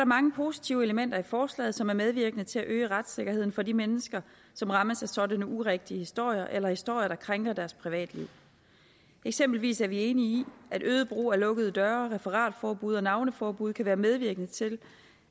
mange positive elementer i forslaget som er medvirkende til at øge retssikkerheden for de mennesker som rammes af sådanne urigtige historier eller historier der krænker deres privatliv eksempelvis er vi enige i at øget brug af lukkede døre referatforbud og navneforbud kan være medvirkende til